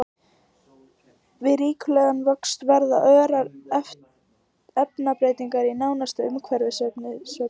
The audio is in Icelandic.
Við ríkulegan vöxt verða örar efnabreytingar í nánasta umhverfi sveppsins.